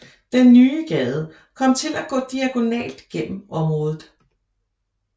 Den nye gade kom til at gå diagonalt gennem området